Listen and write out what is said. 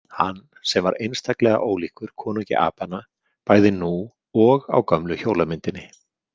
Hann sem var einstaklega ólíkur konungi apanna bæði nú og á gömlu hjólamyndinni.